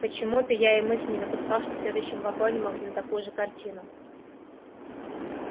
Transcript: почему-то я и мысли не допускал что в следующем вагоне мы увидим такую же картину